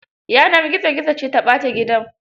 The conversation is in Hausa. Yanar gizo gizo ce ta ɓata gidan.